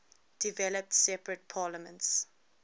developed separate parliaments